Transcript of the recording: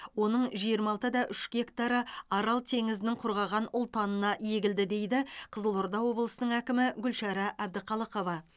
оның жиырма алты да үш гектары арал теңізінің құрғаған ұлтанына егілді дейді қызылорда облысының әкімі гүлшара әбдіқалықова